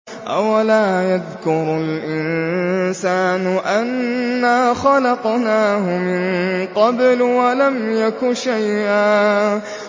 أَوَلَا يَذْكُرُ الْإِنسَانُ أَنَّا خَلَقْنَاهُ مِن قَبْلُ وَلَمْ يَكُ شَيْئًا